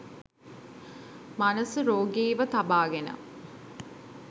මනස රෝගීව තබාගෙන